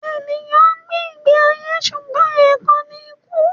Ènìyàn ń gbé ìgbé ayé ṣùgbọ́n ẹ̀kan ni kú